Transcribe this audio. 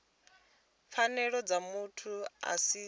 pfanelo dza muthu a si